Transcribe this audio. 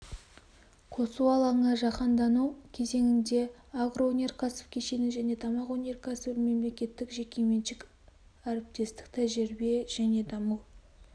қосу алаңы жаһандану кезеңінде агроөнеркәсіп кешені және тамақ өнеркәсібі мемлекеттік жекеменшік әріптестік тәжірибе және даму